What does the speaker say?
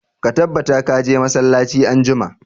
Ka tabbata ka je masallaci anjima!